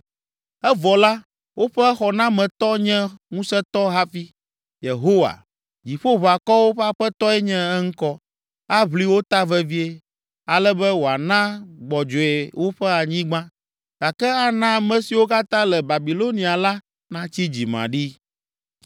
Evɔ la, woƒe Xɔnametɔ nye ŋusẽtɔ hafi, Yehowa, Dziƒoʋakɔwo ƒe Aƒetɔe nye eŋkɔ. Aʋli wo ta vevie, ale be wòana gbɔdzɔe woƒe anyigba, gake ana ame siwo katã le Babilonia la natsi dzimaɖi.”